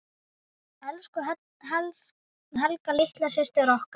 Elsku Helga litla systir okkar.